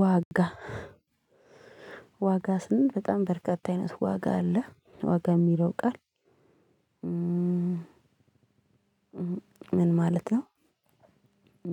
ዋጋ ዋጋ ስንል በጣም በርካታ አይነት ዋጋ አለ ዋጋ የሚለው ቃል ምን ማለት ነው?